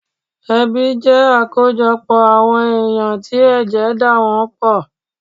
Ẹbí jẹ́ àkójọpọ̀ àwọn èyàn tí ẹ̀jẹ̀ dà wọ́n pọ̀